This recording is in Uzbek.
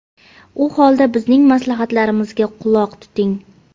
U holda bizning maslahatlarimizga quloq tuting.